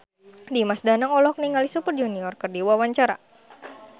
Dimas Danang olohok ningali Super Junior keur diwawancara